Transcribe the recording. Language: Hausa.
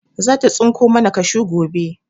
Zata tsinko mana kashu gobe.